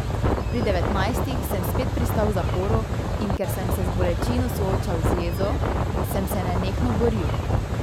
Pri devetnajstih sem spet pristal v zaporu, in ker sem se z bolečino soočal z jezo, sem se nenehno boril.